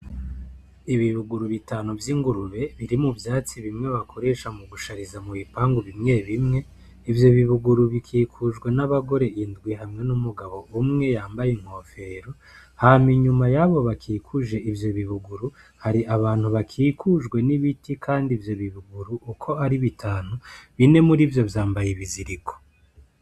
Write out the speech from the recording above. Ibibuguru bitanu vy'ingurube biri mu vyatsi bimwe bakoresha mu gushariza mu bipangu bimwe bimwe ivyo bibuguru bikikujwe n'abagore indwi hamwe n'umugabo umwe yambaye inkofero hama inyuma yabo bakikuje ivyo bibuguru hari abantu bakikujwe n'ibiti, kandi ivyo bibuguru uko ari biti anu bine muri vyo vyambaye ibiziriko.